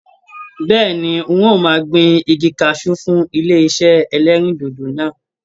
Bẹ́ẹ̀ni, ń ò máa gbin igi kaṣú fún ilé iṣé ẹlẹ́rìndòdò náà.